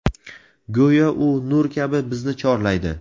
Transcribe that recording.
Go‘yo u nur kabi bizni chorlaydi.